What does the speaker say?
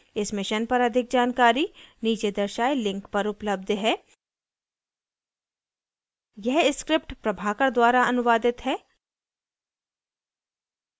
इस mission पर अधिक जानकारी नीचे दर्शाये link पर उपलब्ध है